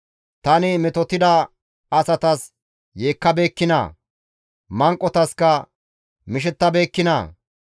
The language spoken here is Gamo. Tani metotida asatas yeekkabeekkinaa? Manqotaska mishettabeekkinaa?